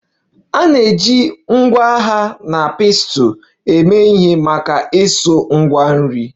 A na-eji ngwa agha na pestle eme ihe maka isu Ngwa nri